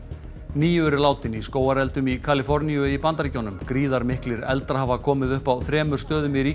níu eru látin í skógareldum í Kaliforníu í Bandaríkjunum gríðarmiklir eldar hafa komið upp á þremur stöðum í